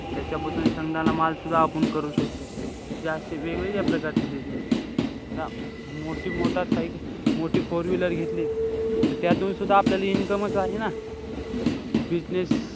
त्याच्यापासून शेंगदाणा मालसुद्धा आपण करू शकतो. जे असे वेगवेगळ्या प्रकारचे business आहे. मोठी मोठा मोठी four wheeler घेतली त्यातूनसुद्धा आपल्याला income च आहे ना. business,